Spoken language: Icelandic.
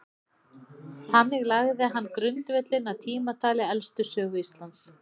Þannig lagði hann grundvöllinn að tímatali elstu sögu Íslands.